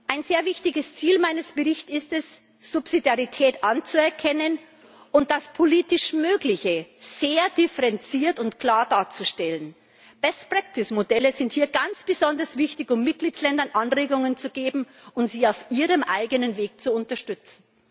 Ein sehr wichtiges Ziel meines Berichts ist es, Subsidiarität anzuerkennen und das politisch Mögliche sehr differenziert und klar darzustellen. Best practice Modelle sind hier ganz besonders wichtig, um Mitgliedsländern Anregungen zu geben und sie auf ihrem eigenen Weg zu unterstützen.